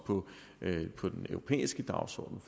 vil sætte på den europæiske dagsorden